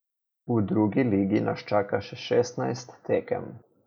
V drugi ligi nas čaka še šestnajst tekem.